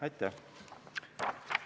Aitäh!